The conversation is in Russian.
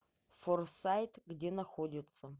форсайт где находится